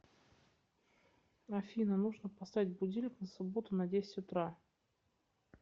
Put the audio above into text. афина нужно поставить будильник на субботу на десятьь утра